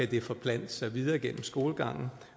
det forplante sig videre gennem skolegangen